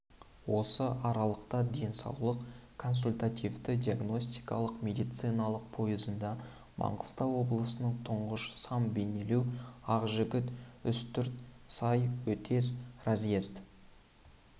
осы аралықта денсаулық консультативті-диагностикалық медициналық пойызында маңғыстау облысының тұрыш сам бейнеу ақжігіт үстірт сай өтес разъезд